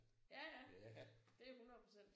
Ja ja det er 100 procent